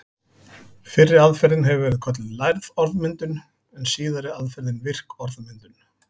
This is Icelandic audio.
Fyrri aðferðin hefur verið kölluð lærð orðmyndun en síðari aðferðin virk orðmyndun.